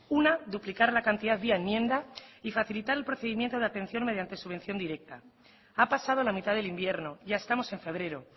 una duplicar la cantidad vía enmienda y facilitar el procedimiento de atención mediante subvención directa ha pasado la mitad del invierno ya estamos en febrero